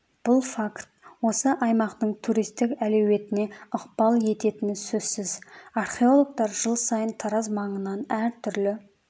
бұл факт осы аймақтың туристік әлеуетіне ықпал ететіні сөзсіз археологтар жыл сайын тараз маңынан әртүрлі